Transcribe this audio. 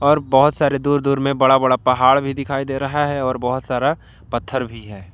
और बहुत सारे दूर दूर में बड़ा बड़ा पहाड़ भी दिखाई दे रहा है और बहुत सारा पत्थर भी है।